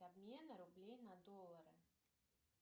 обмена рублей на доллары